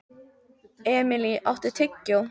Emilý, áttu tyggjó?